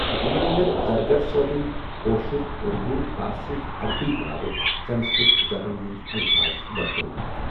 یِمن اندر زرگر صأبن کٲشُر ، اُردوٗ ، فارسی تٕہ عربی علاوٕہ سنسکرت زبأنؠ ہٕندؠ الفاظ ورتأومٕتی.